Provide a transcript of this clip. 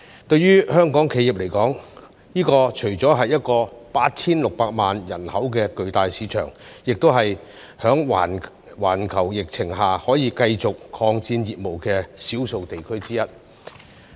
對於香港企業來說，這除了是 8,600 萬人口的巨大市場，亦是在環球疫情下可以繼續擴展業務的少數地區之一。